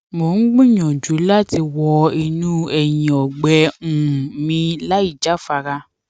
mo ń gbìyànjú láti wọ inú ẹyìn ọgbẹ um mi láìjáfara